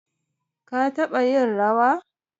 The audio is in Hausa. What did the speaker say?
ka taba yin rawa?